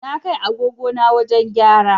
Na kai agogo na wajen gyara